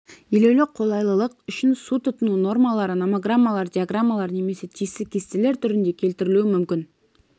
елеулі қолайлылық үшін су тұтыну нормалары номограммалар диаграммалар немесе тиісті кестелер түрінде келтірілуі мүмкін